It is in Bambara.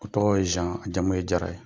O tɔgɔ ye zan a jamu ye jara ye.